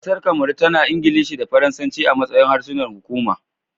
Kasar Kamaru, tana da Ingilishi da Faransanci a matsayin harsunan hukuma